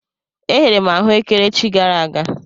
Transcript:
E ghere m ahụekere echi gara aga.